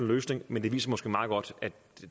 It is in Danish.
løsning men det viser måske meget godt at